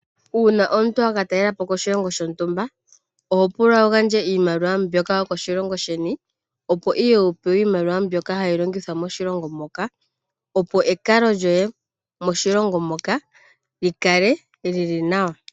Uuna wa ka talelepo oshilongo shontumba, oho pulwa wu gandje iimaliwa mbyoka yo koshilongo sheni, opo ihe wu oewe iimaliwa mbyoka hayi longithwa moshilongo moka. Opo ekalo lyoye moshilongo moka li kale li li nawa.